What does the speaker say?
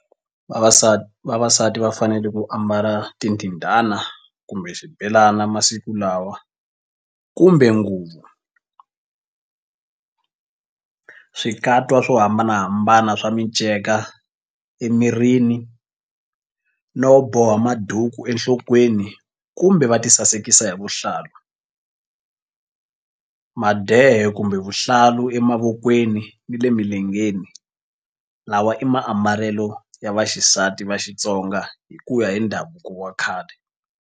Vavasati vavasati va fanele ku ambala tindindana kumbe xibelana masiku lawa kumbe nguvu swikatwa swo hambanahambana swa miceka emirini no boha maduku enhlokweni kumbe va tisasekisa hi vuhlalu madehe kumbe vuhlalu emavokweni ni le milengeni lawa i maambalelo ya vaxisati va Xitsonga hi ku ya hi ndhavuko wa khale.